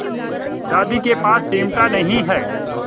दादी के पास चिमटा नहीं है